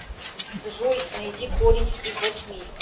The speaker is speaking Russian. джой найди корень из восьми